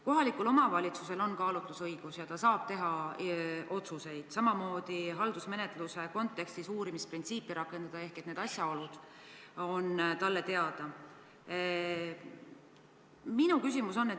Kohalikul omavalitsusel on kaalutlusõigus ja ta saab teha otsuseid, samuti haldusmenetluse kontekstis uurimisprintsiipi rakendada, ehk need asjaolud on talle teada.